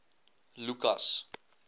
lukas